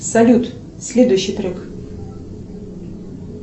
салют следующий трек